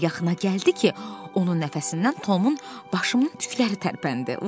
Qız o qədər yaxına gəldi ki, onun nəfəsindən Tomun başının tükləri tərpəndi.